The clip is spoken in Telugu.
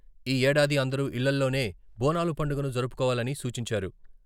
ఈ ఏడాది అందరూ ఇళ్లలోనే బోనాల పండుగను జరుపుకోవాలని సూచించారు.